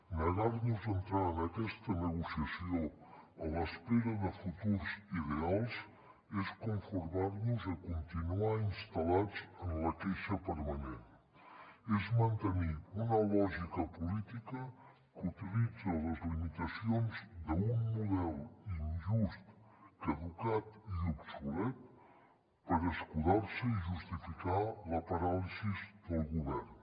negar nos a entrar en aquesta negociació a l’espera de futurs ideals és conformar nos a continuar instal·lats en la queixa permanent és mantenir una lògica política que utilitza les limitacions d’un model injust caducat i obsolet per escudar se i justificar la paràlisi del govern